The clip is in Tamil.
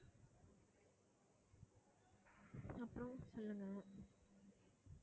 அப்பறம் சொல்லுங்க